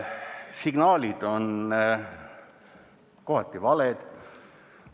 Signaalid on kohati valed.